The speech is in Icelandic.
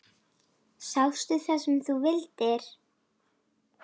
Sástu það sem þú vildir?